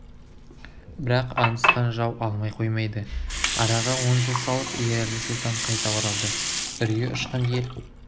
бірақ аңдысқан жау алмай қоймайды араға он жыл салып ерәлі сұлтан қайта оралды үрейі ұшқан ел